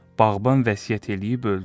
Bağban vəsiyyət eləyib öldü.